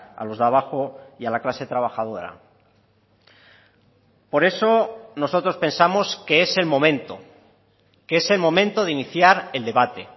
a los de abajo y a la clase trabajadora por eso nosotros pensamos que es el momento que es el momento de iniciar el debate